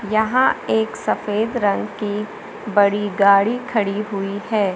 यहां एक सफेद रंग की बड़ी गाड़ी खड़ी हुई है।